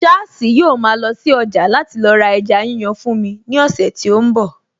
Sháàsì yóò ma lọ sí ọjà láti lọ ra ẹja yíyan fún mi ní ọ̀sẹ̀ tí ó ń bọ̀